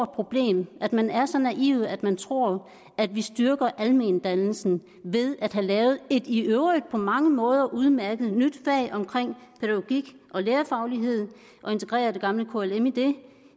problem at man er så naiv at man tror at vi styrker almendannelsen ved at have lavet et i øvrigt på mange måder udmærket nyt fag omkring pædagogik og lærerfaglighed og integrere det gamle klm i det